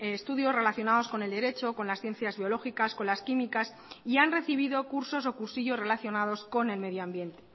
estudios relacionados con el derecho con las ciencias biológicas con las químicas y han recibido cursos o cursillos relacionados con el medio ambiente